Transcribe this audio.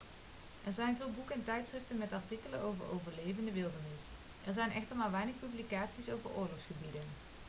er zijn veel boeken en tijdschriften met artikelen over overleven in de wildernis er zijn echter maar weinig publicaties over oorlogsgebieden